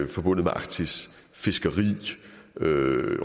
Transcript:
forbundet med arktis fiskeri